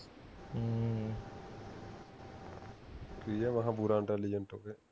ਕਿ ਐ ਮੈਂ ਕਿਹਾ ਪੂਰਾ intelligent ਹੋਵੇ